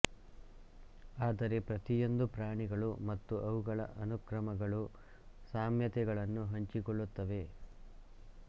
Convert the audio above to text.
ಆದರೆ ಪ್ರತಿಯೊಂದು ಪ್ರಾಣಿಗಳು ಮತ್ತು ಅವುಗಳ ಅನುಕ್ರಮಗಳು ಸಾಮ್ಯತೆಗಳನ್ನು ಹಂಚಿಕೊಳ್ಳುತ್ತವೆ